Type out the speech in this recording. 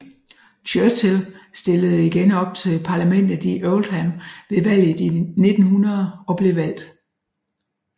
Churchill stillede igen op til parlamentet i Oldham ved valget i 1900 og blev valgt